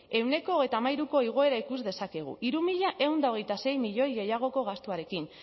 ehuneko hogeita hamairuko igoera ikus dezakegu hiru mila ehun eta hogeita sei milioi gehiagoko gastuarekin